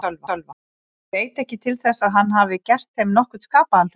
Hann veit ekki til þess að hann hafi gert þeim nokkurn skapaðan hlut.